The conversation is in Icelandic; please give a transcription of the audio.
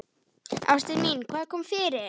Ástin mín, hvað kom fyrir?